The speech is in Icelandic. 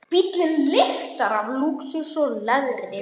Bíllinn lyktar af lúxus og leðri.